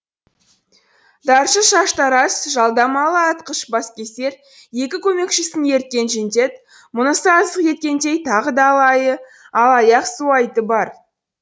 даршы шаштараз жалдамалы атқыш баскесер екі көмекшісін ерткен жендет мұнысы аздық еткендей тағы да алаяқ суайты бар